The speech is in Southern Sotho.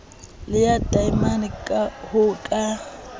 le ya taemane ho ka